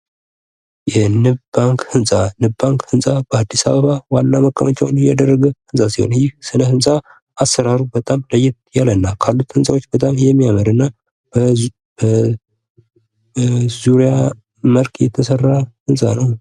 የንብ ባንክ ህንጻ፤ የንብ ባንክ ህፃን በአዲስ አበባ ዋና መቀመጫውን ያደረገ ህንፃ ሲሆን ይህን ስነ ህንፃ አሰራሩ በጣም ለየት ያልና ካሉት ህንፃዎች በጣም የሚያምርና በዙሪያ መልክ የተሰራ ህንፃ ነው።